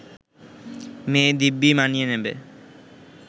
মেয়ে দিব্যি মানিয়ে নেবে